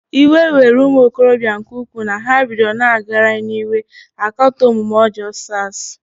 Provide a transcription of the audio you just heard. Iwe were ụmụokorobịa nke ukwuu na ha bidoro na-agagharị n'iwe akatọ omume ọjọọ SARs.